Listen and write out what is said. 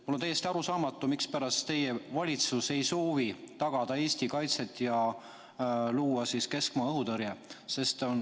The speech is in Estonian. Mulle on täiesti arusaamatu, mispärast teie valitsus ei soovi tagada Eesti kaitset ja luua keskmaa õhutõrjet.